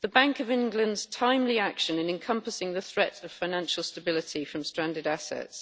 the Bank of England's timely action in encompassing the threat of financial stability from stranded assets,